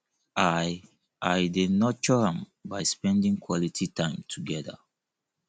i i dey nurture am by spending quality time together